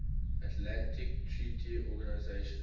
atlantic treaty organization